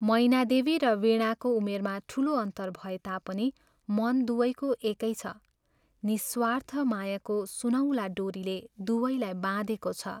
मैनादेवी र वीणाको उमेरमा ठूलो अन्तर भए तापनि मन दुवैको एकै छ निःस्वार्थ मायाको सुनौला डोरीले दुवैलाई बाँधेको छ।